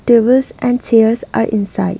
Tables and chairs are inside.